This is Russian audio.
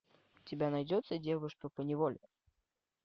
у тебя найдется девушка по неволе